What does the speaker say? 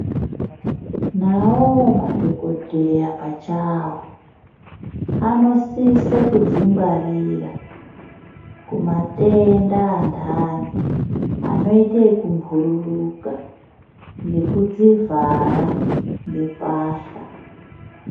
Nawoo madhokodheya pachawo anosise kudzingwarira kumatenda antani anoite yekubhururuka, ngekudzivhara ngembahla.